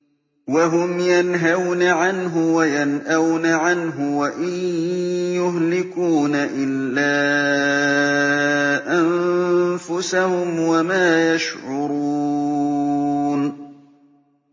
وَهُمْ يَنْهَوْنَ عَنْهُ وَيَنْأَوْنَ عَنْهُ ۖ وَإِن يُهْلِكُونَ إِلَّا أَنفُسَهُمْ وَمَا يَشْعُرُونَ